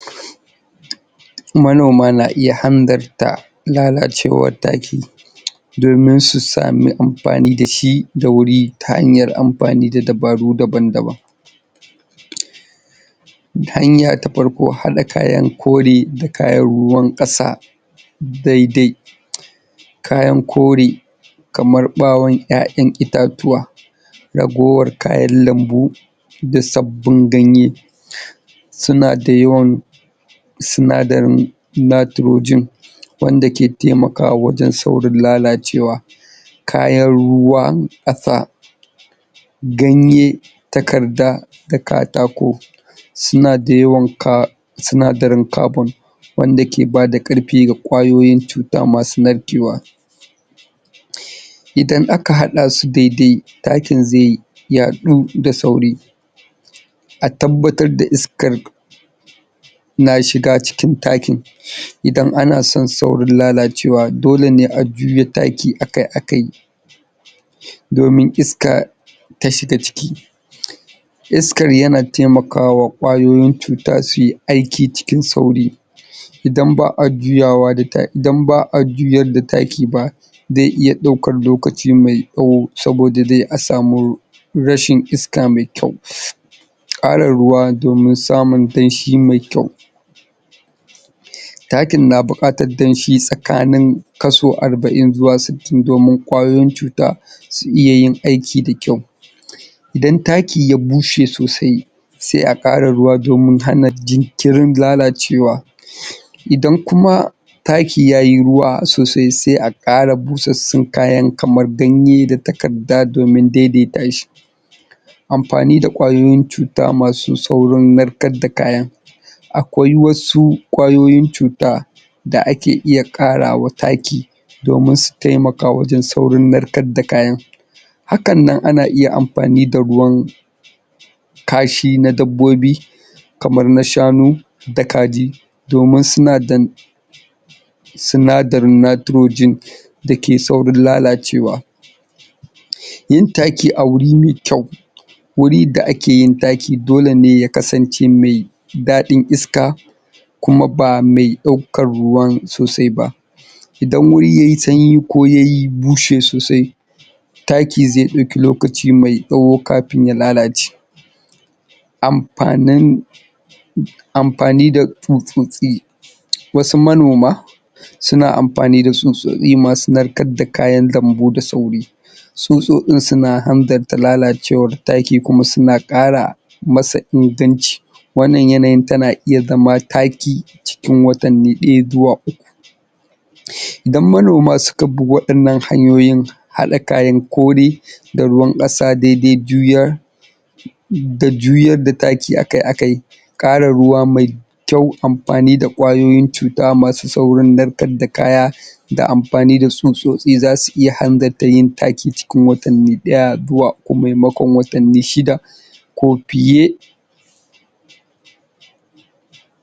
Manoma na iya hanzarta lalacewar taki domin su sami amafani da shi da wuri ta hanyar amfani da dabaru dabn-daban hanya ta farko haɗa kayan kori kayan ruwan ƙasa dai-dai kayan kore kaman ɓawon ƴaƴan itatuwa ragowar kayan lambu da sabbin ganye suna da yawan sinadarin nitrogen wanda ke taimakwa wajen saurin lalacewa kayan ruwan ƙasa ganye, takarda, da katako sina da ywan ka, sinadrin carbon wanda ke bada ƙarfi ga ƙwayoyin cuta masu narkewa idan aka haɗa su dai-dai takin zai yaɗu da sauri a tabbatar da iskar na shiga cikin takin. iadan ana sion saurin lalacewa dole ne a juya taki akai-akai domin iska ta shiga ciki Iskar yana taimakawa ƙwayoyin cuta sui aiki cikin sauri idan ba a juyawa da ta idan ba a juyar da taki ba zai iya ɗaukar lokaci mai tsawo saboda dai a samo rashin iska mai kyau ƙara ruwa domin samun danshi mai kyau. Takin na buƙatar danshi tsakanin kaso arba'in zuwa sittin domin ƙwayoyin cuta su iya yin aikin da kyau idan taki ya bushe sosai sai a ƙara ruwa domin hana jinkirin lalacewa idan kuma Taki ya yi ruwa sosai sai a ƙara busassun kayan kamar ganye da takarda don a daidaita shi amfanin da ƙwayoyin cuta masu saurin narkar da kayan akwai wasu ƙwayoyin cuta da ake iya ƙara wa taki domin su taimaka wajen saurin narkar da kayan hakan nan ana iya amfani da ruwan kashi na dabbobi kamar na shanu da kaji domin suna da sinadari nitrogen da ke saurin lalacewa yin taki a wuri mai kyau wuri da ake yin taki dole ne ya kasance mai daɗin iska kuma ba mai ɗaukan ruwan sosai ba idan wuri yayi sanyi ko ya yi bushe sosai taki zai ɗauki lokaci mai tsawo kafin ya lalace amfanin amfani da tsutsotsi wasu manoma suna amfani da tsutsotsi masu narkar da kayan gambu da sauri tsutsotsin suna hanzarta lalacewar taki kuma suna ƙara masa ingantaci wannan yanayin tana iya zama taki cikin wata mai ɗaya zuwa Idan manoma suka bi waɗannan hanyoyin haɗa kayan kore da ruwan ƙasa dai-dai juyar da juyar da taki akai-akai ƙarin ruwa mai kyau amfani da ƙwayoyin cuta masu saurin narkar da kaya da amfani da tsutsotsi za su iya hanzarta yin taki cikin watanni ɗaya zuwa uku maimakaon watanni shida ko fiye.